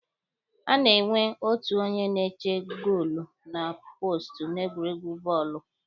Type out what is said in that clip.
A na-enwe otu onye na-eche goolu na poostu n'egwuregwu bọọlụ.